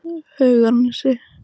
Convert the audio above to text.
Hauganesi